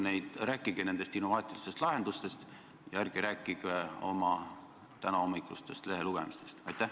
Palun rääkige nendest innovaatilistest lahendustest ja ärge rääkige oma tänahommikusest lehelugemisest!